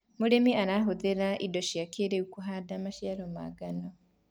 mũrĩmi arahũthira indo cia kĩiriu kuhanda maciaro ma ngano